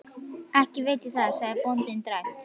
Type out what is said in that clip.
Ekki veit ég það, sagði bóndinn dræmt.